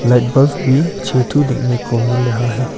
Light bulb भी छह तो देखने को मिल रहा है।